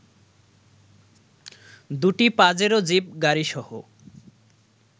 দু'টি Pajero jeep গাড়িসহ